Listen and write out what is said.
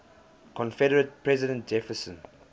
confederate president jefferson